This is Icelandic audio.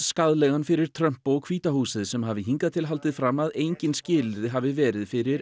skaðlegan fyrir Trump og hvíta húsið sem hafi hingað til haldið fram að engin skilyrði hafi verið fyrir